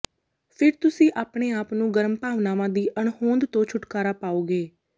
ਫਿਰ ਤੁਸੀਂ ਆਪਣੇ ਆਪ ਨੂੰ ਗਰਮ ਭਾਵਨਾਵਾਂ ਦੀ ਅਣਹੋਂਦ ਤੋਂ ਛੁਟਕਾਰਾ ਪਾਓਗੇ